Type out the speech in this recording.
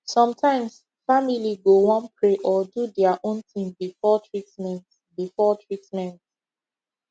sometimes family go wan pray or do their own thing before treatment before treatment